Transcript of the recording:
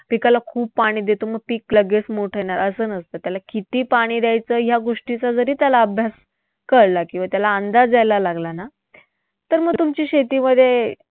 पिकाला खूप पाणी देतो मग पीक लगेच मोठं येणार, असं नसतं. त्याला किती पाणी द्यायचं या गोष्टीचा जरी त्याला अभ्यास कळला किंवा त्याला अंदाज यायला लागला ना, तर मग तुमची शेतीमध्ये